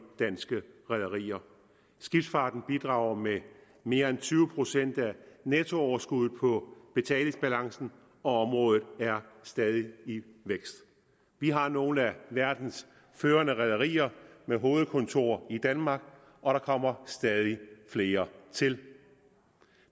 danske rederier skibsfarten bidrager med mere end tyve procent af nettooverskuddet på betalingsbalancen og området er stadig i vækst vi har nogle af verdens førende rederier med hovedkontorer i danmark og der kommer stadig flere til